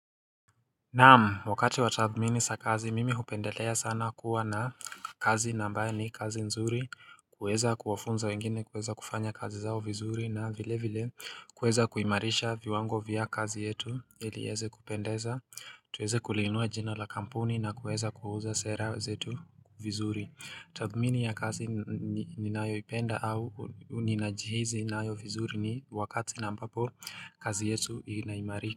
Naam wakati wa tathmini za kazi mimi hupendelea sana kuwa na kazi na ambayo ni kazi nzuri kuweza kuwafunza wengine kuweza kufanya kazi zao vizuri na vile vile kuweza kuimarisha viwango vya kazi yetu ili ieze kupendeza tuweze kulinua jina la kampuni na kuweza kuuza sera zetu vizuri tathmini ya kazi ninayo ipenda au ninajihisi nayo vizuri ni wakati na ambapo kazi yetu inaimarika.